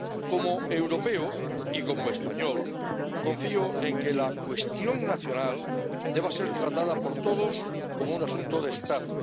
Como europeo y como español, confío en que la cuestión nacional sea tratada por todos como un asunto de Estado.